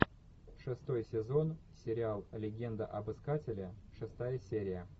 шестой сезон сериал легенда об искателе шестая серия